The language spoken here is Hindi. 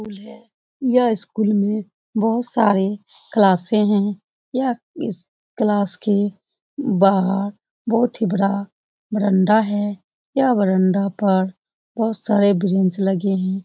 यह स्कूल है यह स्कूल में बहुत सारे क्लासे हैं यह इस क्लास के बाहर बहुत ही बड़ा बरंडा है यह बरंडा पर बहुत सारे ब्रेंच लगे हुए हैं।